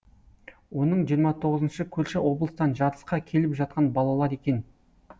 оның жиырма тоғызыншы көрші облыстан жарысқа келіп жатқан балалар екен